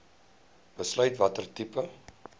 besluit watter tipe